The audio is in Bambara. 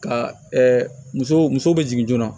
Ka muso muso bɛ jigin joona